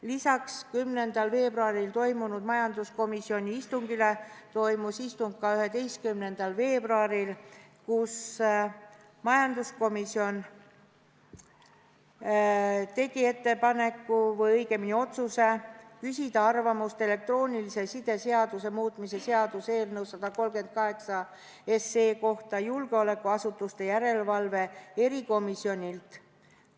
Lisaks 10. veebruaril toimunud majanduskomisjoni istungile toimus istung ka 11. veebruaril, kus majanduskomisjon tegi ettepaneku või õigemini otsuse küsida arvamust elektroonilise side seaduse muutmise seaduse eelnõu 138 kohta julgeolekuasutuste järelevalve erikomisjonilt.